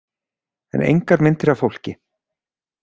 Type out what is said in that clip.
En engar myndir af fólki.